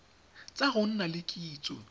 tsa go nna le kitso